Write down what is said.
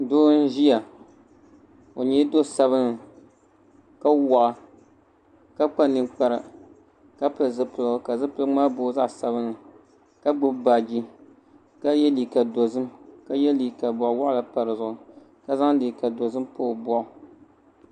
Doo n ʒiya o nyɛla do sabinli ka waɣa ka kpa ninkpara ka pili zipiligu ka gbubi baaji ka yɛ liiga dozim ka yɛ liiga boɣa waɣala pa dizuɣu ka zaŋ liiga dozim pa o boɣu